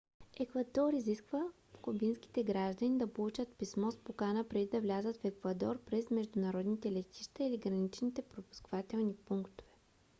еквадор изисква кубинските граждани да получат писмо с покана преди да влязат в еквадор през международните летища или граничните пропускателни пунктове